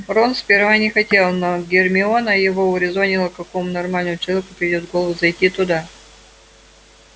рон сперва не хотел но гермиона его урезонила какому нормальному человеку придёт в голову зайти туда